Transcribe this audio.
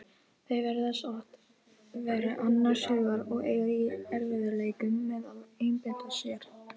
Þau virðast oft vera annars hugar og eiga í erfiðleikum með að einbeita sér.